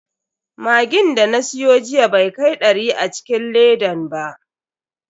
Magin da na siyo jiya bai kai dari a cikin ledan ba.